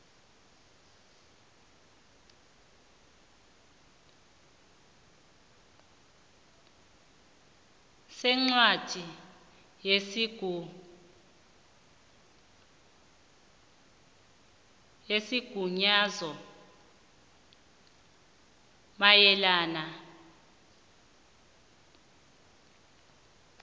sencwadi yesigunyazo mayelana